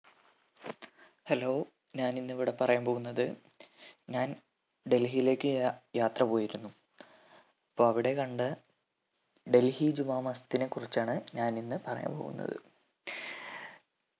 hello ഞാനിന്നിവിടെ പറയാൻ പോകുന്നത് ഞാൻ ഡൽഹിയിലേക്ക് യ യാത്ര പോയിരുന്നു അപ്പൊ അവിടെ കണ്ട ഡൽഹി ജുമാ മസ്‌ജിദിനെ കുറിച്ചാണ് ഞാൻ ഇന്ന് പറയാൻ പോകുന്നത്